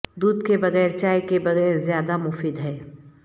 دودھ کے بغیر چائے کے بغیر زیادہ مفید ہے